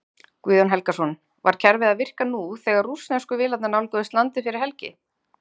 Guðjón Helgason: Var kerfið að virka nú þegar rússnesku vélarnar nálguðust landið fyrir helgi?